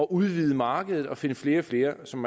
udvide markedet og finde flere og flere som